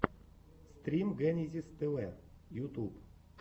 стрим генезис тв ютюб